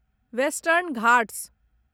western Ghats